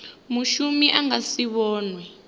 mushumi a nga si vhonwe